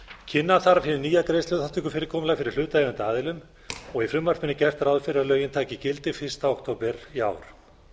kynna þarf hið nýja greiðsluþátttökukerfi fyrir hlutaðeigandi aðilum og í frumvarpinu er gert ráð fyrir að lögin taki gildi fyrsta október í ár